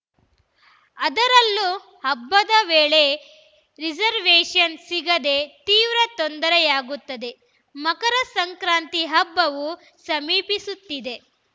ಅದರಲ್ಲೂ ಹಬ್ಬದ ವೇಳೆ ರಿಸರ್ವೇಷನ್‌ ಸಿಗದೇ ತೀವ್ರ ತೊಂದರೆಯಾಗುತ್ತದೆ ಮಕರ ಸಂಕ್ರಾಂತಿ ಹಬ್ಬವೂ ಸಮೀಪಿಸುತ್ತಿದೆ